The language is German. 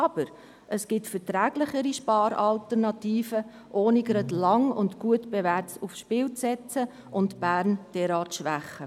Doch es gibt verträglichere Spar-Alternativen, ohne lange und gut Bewährtes aufs Spiel zu setzen und Bern derart zu schwächen.